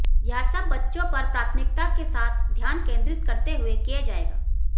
यह सब बच्चों पर प्राथमिकता के साथ ध्यान केन्द्रित करते हुये किया जायेगा